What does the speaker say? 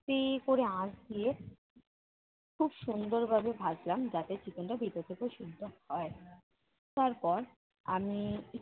আস্তে করে আঁচ দিয়ে খুব সুন্দরভাবে ভাজলাম যাতে chicken টা ভিতর থেকেও সেদ্ধ হয়। তারপর আমি